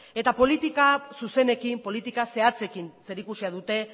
eta politika zuzenekin politika zehatzekin zerikusia dute